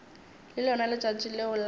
ke lona letšatši leo la